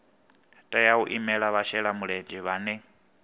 tea u imela vhashelamulenzhe vhane